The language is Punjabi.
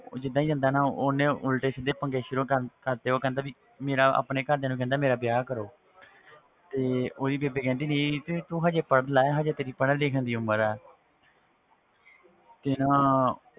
ਉਹ ਜਿੱਦਾਂ ਹੀ ਜਾਂਦਾ ਨਾ ਉਹਨੇ ਉਲਟੇ ਸਿੱਧੇ ਪੰਗੇ ਸ਼ੁਰੂ ਕਰ ਕਰ ਦਿੱਤੇ ਤੇ ਉਹ ਕਹਿੰਦਾ ਵੀ ਮੇਰਾ ਆਪਣੇ ਘਰਦਿਆਂ ਨੂੰ ਕਹਿੰਦਾ ਮੇਰਾ ਵਿਆਹ ਕਰੋ ਤੇ ਉਹਦੀ ਬੇਬੇ ਕਹਿੰਦੇ ਨਹੀਂ ਤੇ ਤੂੰ ਹਜੇ ਪੜ੍ਹ ਲੈ ਹਜੇ ਤੇਰੀ ਪੜ੍ਹਣ ਲਿਖਣ ਦੀ ਉਮਰ ਹੈ ਤੇ ਨਾ